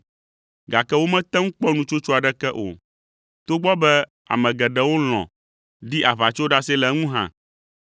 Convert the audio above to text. gake womete ŋu kpɔ nutsotso aɖeke o, togbɔ be ame geɖewo lɔ̃ ɖi aʋatsoɖase le eŋu hã.